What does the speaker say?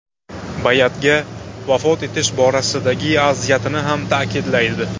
Bay’atga vafo etish borasidagi aziyatini ham ta’kidlaydi.